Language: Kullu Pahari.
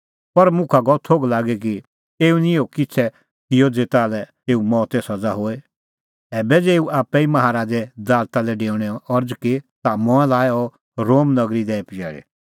पर मुखा गअ थोघ लागी कि एऊ निं इहअ किछ़ै किअ ज़ेता लै एऊ मौते सज़ा होए ऐबै ज़ै एऊ आप्पै ई माहा राज़े दालता लै डेऊणे अरज़ की ता मंऐं लाअ अह रोम नगरी दैई पजैल़ी